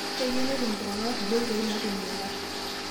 Keiyeu netum iltung'ana kulie oitoi naitumie ilat